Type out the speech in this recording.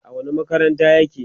a wani makarantar yake?